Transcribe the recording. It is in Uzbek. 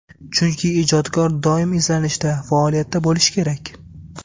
Chunki, ijodkor doim izlanishda, faoliyatda bo‘lishi kerak.